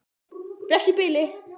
Bless í bili.